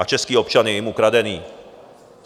A český občan je jim ukradený.